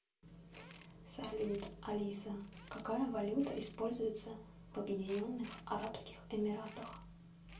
салют алиса какая валюта используется в объединенных арабских эмиратах